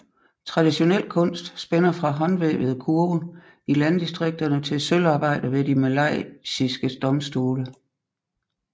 Traditionel kunst spænder fra håndvævede kurve i landdistrikterne til sølvarbejder ved de malaysiske domstole